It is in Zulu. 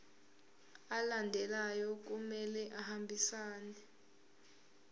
alandelayo kumele ahambisane